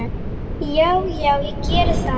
Já, já, ég geri það.